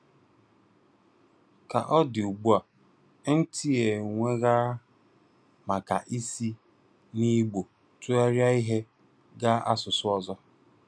Ka ọ dị ugbua, MT e nwegara maka isi n'Igbo tụgharịa ihe gaa n'asụsụ ọzọ